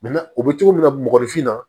u bɛ cogo min na mɔgɔninfin na